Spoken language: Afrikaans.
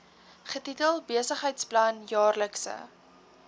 getitel besigheidsplan jaarlikse